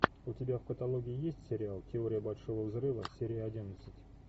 у тебя в каталоге есть сериал теория большого взрыва серия одиннадцать